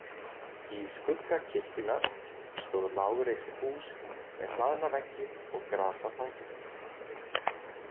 Í skugga kirkjunnar stóð lágreist hús með hlaðna veggi og gras á þakinu.